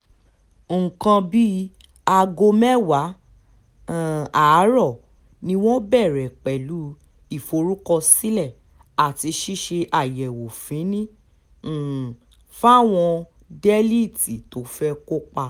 nǹkan bíi aago mẹ́wàá um àárọ̀ ni wọ́n bẹ̀rẹ̀ pẹ̀lú ìforúkọsílẹ̀ àti ṣíṣe àyẹ̀wò fínni um fáwọn délẹ́ẹ̀tì tó fẹ́ẹ́ kópa